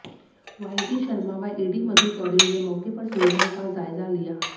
वाईडी शर्मा व एडी मधु चौधरी ने मौके पर सुविधाओं का जायजा लिया